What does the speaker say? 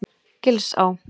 Gilsá